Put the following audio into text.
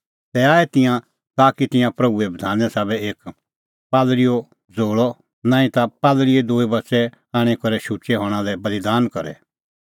तै आऐ तिंयां ताकि तिंयां प्रभूए बधाने साबै एक पालल़ीओ ज़ोल़अ नांईं ता पालल़ीए दूई बच़ै आणी करै शुचै हणां लै बल़ीदान करे